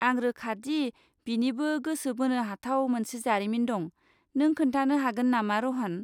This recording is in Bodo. आं रोखा दि बिनिबो गोसो बोनो हाथाव मोनसे जारिमिन दं, नों खोन्थानो हागोन नामा, र'हन?